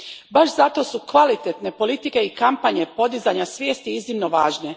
Baš zato su kvalitetne politike i kampanje podizanja svijesti iznimno važne.